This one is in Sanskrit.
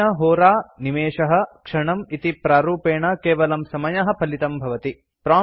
अनेन होरा निमेषः क्षणम् इति प्रारूपेण केवलं समयः फलितं भवति